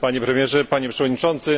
Panie Premierze, Panie Przewodniczący!